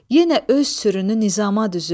Yenə öz sürünü nizama düzüb.